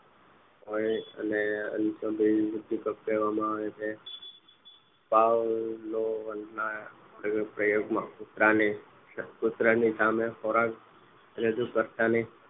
હોય અને ઉદીપક કહેવામાં આવે છે પાવલો ના પ્રયોગમાં કૂતરાની સામે ખોરાક રજૂ કર્યો ની